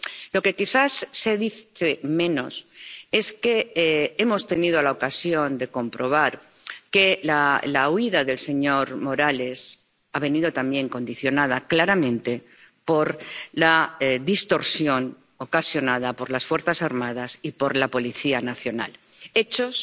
Lo que quizás se dice menos es que hemos tenido la ocasión de comprobar que la huida del señor Morales ha venido también condicionada claramente por la distorsión ocasionada por las fuerzas armadas y por la policía nacional, hechos